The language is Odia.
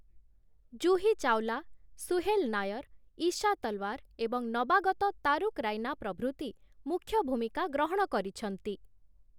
ଜୁହି ଚାୱଲା, ସୁହେଲ ନାୟର୍‌, ଈଶା ତଲ୍‌ୱାର ଏବଂ ନବାଗତ ତାରୁକ୍‌ ରାଇନା ପ୍ରଭୃତି ମୁଖ୍ୟ ଭୂମିକା ଗ୍ରହଣ କରିଛନ୍ତି ।